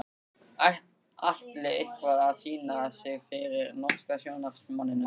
Atli eitthvað að sýna sig fyrir norska sjónvarpsmanninum?